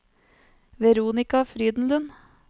Veronika Frydenlund